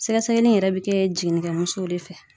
Sɛgɛsɛgɛli in yɛrɛ bɛ kɛ jiginikɛ musow de fɛ.